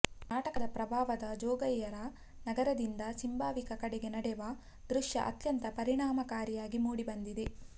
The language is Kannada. ನಾಟಕದ ಪ್ರಾರಂಭದ ಜೋಗಯ್ಯರ ನಗರದಿಂದ ಸಿಂಭಾವಿಯ ಕಡೆಗೆ ನಡೆವ ದೃಶ್ಯ ಅತ್ಯಂತ ಪರಿಣಾಮಕಾರಿಯಾಗಿ ಮೂಡಿಬಂದಿದೆ